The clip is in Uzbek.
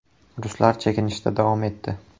Ruslar chekinishda davo etdi.